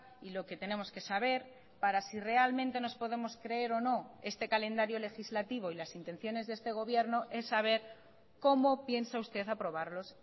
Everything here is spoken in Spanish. y lo que tenemos que saber para si realmente nos podemos creer o no este calendario legislativo y las intenciones de este gobierno es saber cómo piensa usted aprobarlos